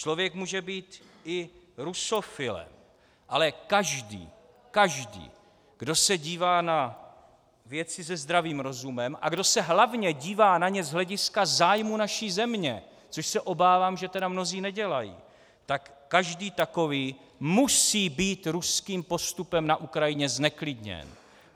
Člověk může být i rusofilem, ale každý, každý, kdo se dívá na věci se zdravým rozumem a kdo se hlavně dívá na ně z hlediska zájmu naší země, což se obávám, že tedy mnozí nedělají, tak každý takový musí být ruským postupem na Ukrajině zneklidněn.